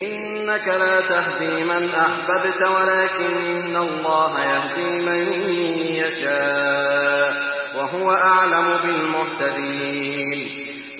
إِنَّكَ لَا تَهْدِي مَنْ أَحْبَبْتَ وَلَٰكِنَّ اللَّهَ يَهْدِي مَن يَشَاءُ ۚ وَهُوَ أَعْلَمُ بِالْمُهْتَدِينَ